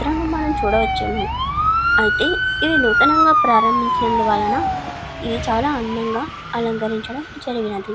మనము చూడవచ్చును. అయితే ఇది నూతనముగా ప్రారంభంచడం వలన ఇది చాలా అందముగా అలకరిచడం జరిగిన్నది.